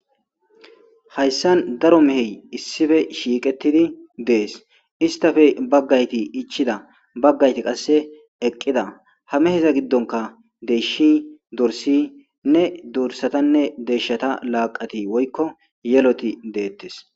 hayssan daro mehey issife shiiqetidi dees istafe baggayti ichida baggayti qasse eqqida hameheza giddonka deeshi dorsi nne dorsatanne deeshshata laaqati woykko yeloti deettes